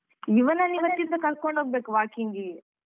ಇವನನ್ನ ಇವತ್ತಿನಿಂದ ಕರ್ಕೊಂಡ್ ಹೋಗ್ಬೇಕು walking ಗೆ